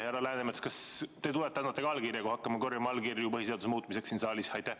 Härra Läänemets, kas te tulete ja annate ka allkirja, kui me hakkame korjama allkirju põhiseaduse muutmiseks siin saalis?